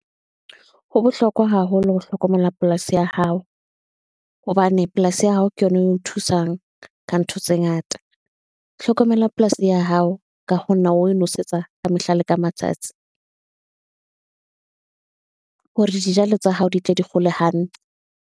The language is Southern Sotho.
Ho bohlokwa haholo ho hlokomela polasi ya hao, hobane polasi ya hao ke yona e o thusang, ka ntho tse ngata, hlokomelwa polasi ya hao, ka ho nna o nosetsa ka mehla le ka matsatsi. Hore dijalo tsa hao di tle di kgole hantle.